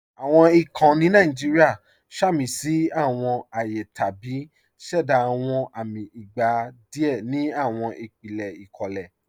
Awọn èèkàn ni Nàìjíríà sàmísí awọn ààyè tàbí ṣẹ̀dá awọn amì ìgbà díẹ̀ ni awọn ìpílẹ̀ ikólẹ̀.